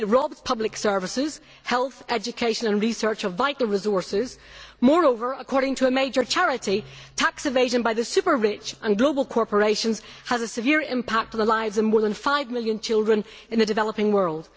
It robs public services, health, education and research of vital resources. Moreover, according to a major charity, tax evasion by the super rich and by global corporations has a severe impact on the lives of more than five million children in the developing world.